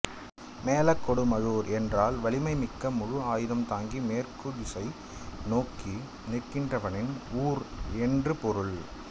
மேலக்கொடுமழூர் என்றால் வலிமைமிக்க மழு ஆயுதம் தாங்கி மேற்கு திசை நோக்கி நிற்கின்றவனின் ஊர் என்று பொருள்